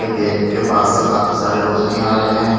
Gate के पास से काफी सारे रोशनी आ रहे हैं।